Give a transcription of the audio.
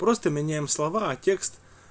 просто меняем слова а текст